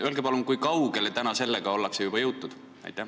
Öelge palun, kui kaugele sellega ollakse juba jõutud?